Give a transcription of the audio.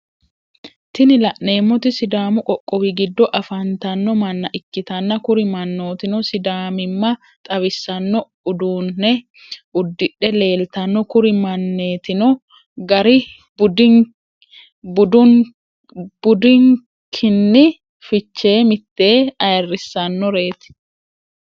Tini lanemoti sidaamu qoqqowi gido afanitano manna ikittna kuri mannotino sidaammima xawissano udunne udidhe lelitano kuri manitino garri badukini fichee miteni ayirissanoret.